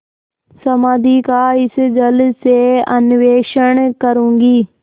समाधि का इस जल से अन्वेषण करूँगी